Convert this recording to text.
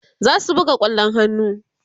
zasu buga kwallon hannu